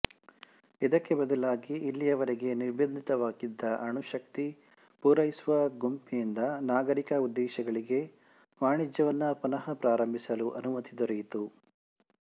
ಇದಕ್ಕೆ ಬದಲಾಗಿ ಇಲ್ಲಿಯವರೆಗೆ ನಿರ್ಭಂದಿತವಾಗಿದ್ದ ಅಣುಶಕ್ತಿ ಪೂರೈಸುವ ಗುಂಪಿನಿಂದ ನಾಗರೀಕ ಉದ್ದೇಶಗಳಿಗೆ ವಾಣಿಜ್ಯವನ್ನು ಪುನಃ ಪ್ರಾರಂಭಿಸಲು ಅನುಮತಿ ದೊರೆಯಿತು